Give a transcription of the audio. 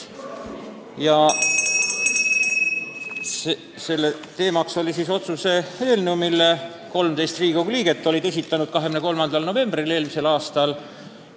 Teemaks oli Riigikogu otsuse eelnõu, mille 13 Riigikogu liiget olid esitanud 23. novembril eelmisel aastal.